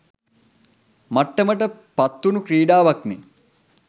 මට්ටමට පත්වුණු ක්‍රීඩාවක්නේ